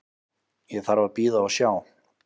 Ég þarf að bíða og sjá.